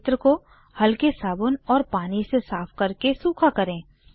उस क्षेत्र को हलके साबुन और पानी से साफ़ करके सूखा करें